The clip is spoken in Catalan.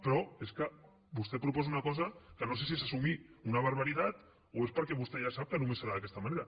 però és que vostè proposa una cosa que no sé si és assumir una barbaritat o és perquè vostè ja sap que només serà d’aquesta manera